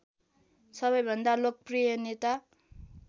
सबैभन्दा लोकप्रिय नेता